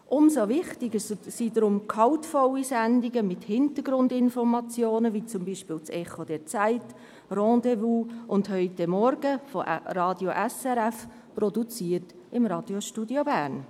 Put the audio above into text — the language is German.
Umso wichtiger sind gehaltvolle Sendungen mit Hintergrundinformationen wie zum Beispiel das «Echo der Zeit», das «Rendez-vous» und «Heute Morgen» von Radio SRF, produziert im Radiostudio Bern.